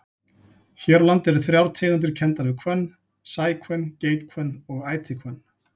Hér á landi eru þrjár tegundir kenndar við hvönn, sæhvönn, geithvönn og ætihvönn.